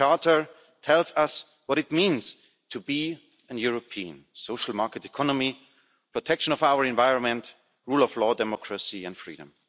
The Charter tells us what it means to be in a European social market economy, protection of our environment, rule of law, democracy and freedom.